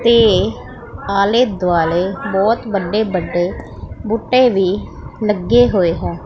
ਤੇ ਆਲੇ ਦੁਆਲੇ ਬਹੁਤ ਵੱਡੇ ਵੱਡੇ ਬੂਟੇ ਵੀ ਲੱਗੇ ਹੋਏ ਹੈ।